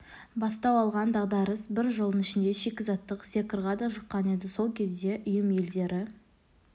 бастау алған дағдарыс бір жылдың ішінде шикізаттық секорға да жұққан еді сол кезде ұйым елдері